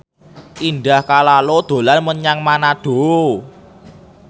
Indah Kalalo dolan menyang Manado